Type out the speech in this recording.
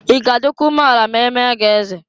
I ga adịkwa umeala ma e mee gị eze?